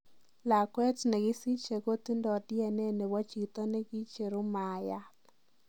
Lakweet nengisiche kotindoo DNA nebo chito nengiichero maayat.